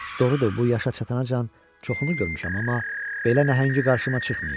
Doğrudur, bu yaşa çatana can çoxunu görmüşəm, amma belə nəhəngi qarşıma çıxmayıb.